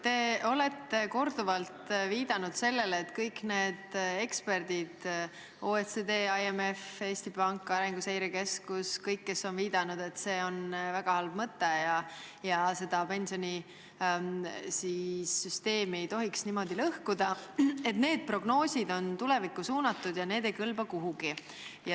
Te olete korduvalt viidanud sellele, et kõik prognoosid, mis on teinud need eksperdid – OECD, IMF, Eesti Pank, Arenguseire Keskus –, kes on viidanud, et see reform on väga halb mõte ja pensionisüsteemi ei tohiks niimoodi lõhkuda, on tulevikku suunatud ja ei kõlba kuhugi.